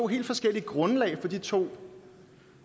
helt forskellige grundlag for de to